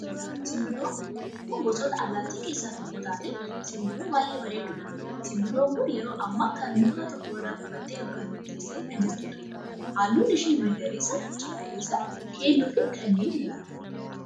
Simbirroo, simbirroon kun gosoota allaattii keessaa tokko taatee, simbirroo baayyee bareedduudha. Simbirroon kun yeroo ammaa kana muka tokko irra qubattee yookaan teessee kan jirtu dha. Halluun ishee magariisa ,cuquliisa, keelloofi kanneen biraa dha.